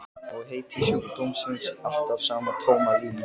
Og heiti sjúkdómsins alltaf sama tóma línan.